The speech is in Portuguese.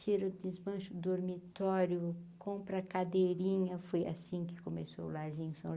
Tira o desbancho do dormitório, compra cadeirinha, foi assim que começou o larzinho.